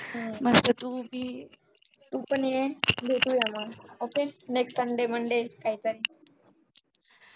मस्त तू भी तुपाने ये भेटूया मग okaynext sunday monday काहीतरी